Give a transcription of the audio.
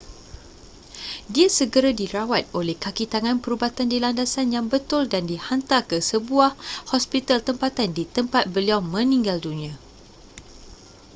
dia segera dirawat oleh kakitangan perubatan di landasan yang betul dan dihantar ke sebuah hospital tempatan di tempat beliau meninggal dunia